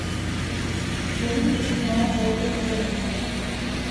фильм где снимается ольга бузова